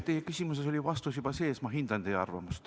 Teie küsimuses oli vastus juba sees, ma hindan teie arvamust.